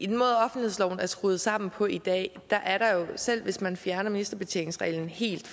den måde offentlighedsloven er skruet sammen på i dag er der jo selv hvis man fjerner ministerbetjeningsreglen helt